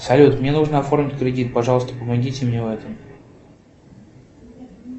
салют мне нужно оформить кредит пожалуйста помогите мне в этом